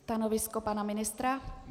Stanovisko pana ministra?